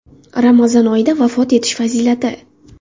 Ramazon oyida vafot etish fazilati.